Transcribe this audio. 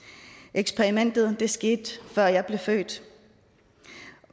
eksperimentet skete før jeg blev født